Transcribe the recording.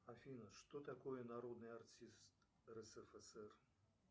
афина что такое народный артист рсфср